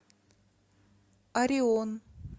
орион